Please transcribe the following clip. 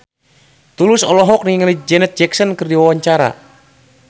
Tulus olohok ningali Janet Jackson keur diwawancara